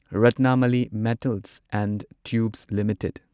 Ratnamali metals and tubes limited